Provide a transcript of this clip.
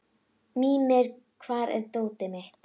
Mímir, hvar er dótið mitt?